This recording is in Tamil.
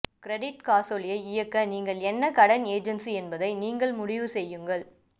கிரெடிட் காசோலை இயக்க நீங்கள் என்ன கடன் ஏஜென்சி என்பதை நீங்கள் முடிவு செய்யுங்கள்